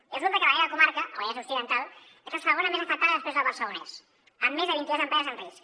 i resulta que a la meva comarca el vallès occidental és la segona més afectada després del barcelonès amb més de vint i dues empreses en risc